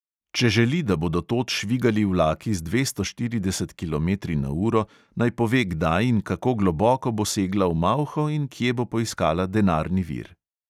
Če želi, da bodo tod švigali vlaki z dvesto štiridesetimi kilometri na uro, naj pove, kdaj in kako globoko bo segla v malho in kje bo poiskala denarni vir.